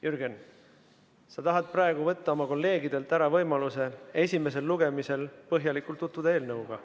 Jürgen, sa tahad praegu võtta oma kolleegidelt ära võimaluse esimesel lugemisel põhjalikult tutvuda eelnõuga.